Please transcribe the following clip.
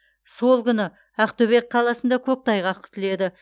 сол күні ақтөбе қаласында көктайғақ күтіледі